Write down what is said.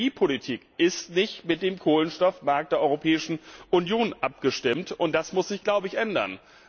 Die Energiepolitik ist nicht mit dem Kohlenstoffmarkt der Europäischen Union abgestimmt, und das muss sich ändern.